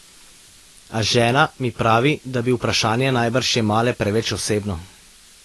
A žena mi pravi, da bi vprašanje najbrž jemale preveč osebno.